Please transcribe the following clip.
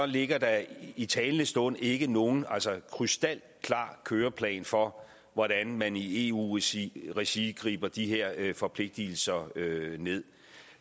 ligger der i talende stund ikke nogen krystalklar køreplan for hvordan man i eu regi regi griber de her forpligtelser